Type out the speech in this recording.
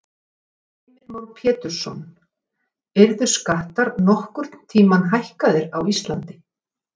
Heimir Már Pétursson: Yrðu skattar nokkurn tímann hækkaðir á Íslandi?